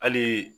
Hali